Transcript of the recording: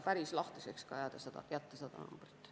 Päris lahtiseks ei tahetud seda numbrit jätta.